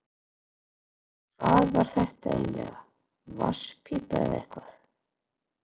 Hvað var þetta eiginlega, vatnspípa eða eitthvað?